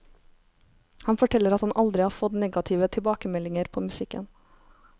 Han forteller at han aldri har fått negative tilbakemeldinger på musikken.